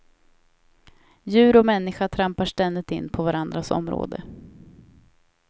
Djur och människa trampar ständigt in på varandras område.